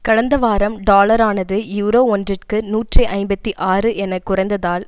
கடந்த வாரம் டாலரானது யூரோ ஒன்றிற்கு நூற்றி ஐம்பத்தி ஆறு என குறைந்ததால்